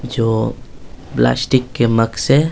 जो प्लास्टिक के मग से --